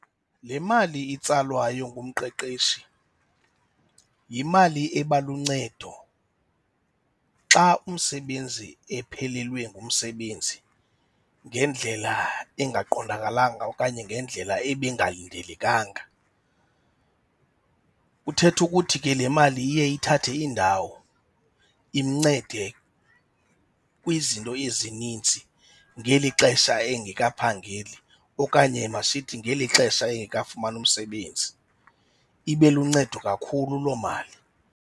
Le mali itsalwayo ngumqeqeshi yimali eba luncedo xa umsebenzi ephelelwe ngumsebenzi ngendlela engaqondakalanga okanye ngendlela ebingalindelekanga. Kuthetha ukuthi ke le mali iye ithathe indawo imncede kwizinto ezinintsi ngeli xesha engekaphangeli okanye masithi, ngeli xesha engekafumani umsebenzi ibe luncedo kakhulu loo mali.